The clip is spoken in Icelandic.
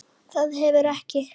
Þetta hefur ekki.?